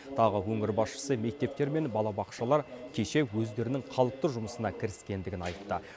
тағы өңір басшысы мектептер мен балабақшалар кеше өздерінің қалыпты жұмысына кіріскендігін айтты